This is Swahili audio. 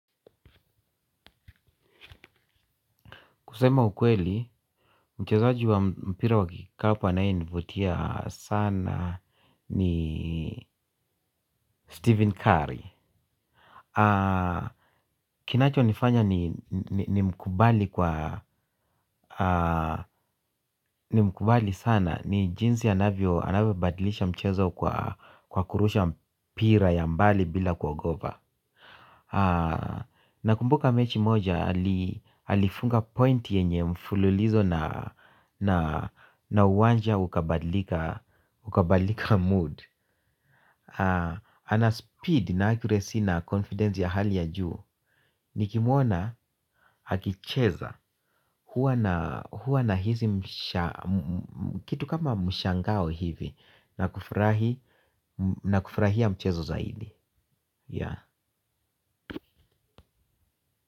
Kusema ukweli, mchezaji wa mpira wa kikapu anayenivutia sana ni Stephen Curry. Kinachonifanya nimkubali sana ni jinsi anavyobadlisha mchezo kwa kurusha mpira ya mbali bila kuogopa. Nakumbuka mechi moja alifunga point yenye mfululizo na uwanja ukabalika mood. Ana speed na accuracy na confidence ya hali ya juu. Nikimuona hakicheza huwa nahisi kitu kama mshangao hivi na kufurahia mchezo zaidi.